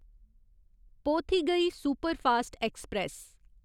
Pothigai superfast express